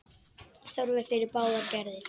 Þörf er fyrir báðar gerðir.